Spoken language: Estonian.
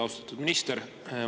Austatud minister!